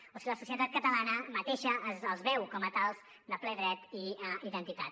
o si la societat catalana mateixa els veu com a tals de ple dret i identitat